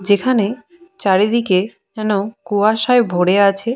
যেখানে চারিদিকে যেন কুয়াশায় ভরে আছে।